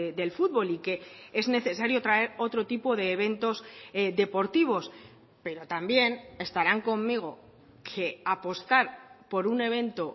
del fútbol y que es necesario traer otro tipo de eventos deportivos pero también estarán conmigo que apostar por un evento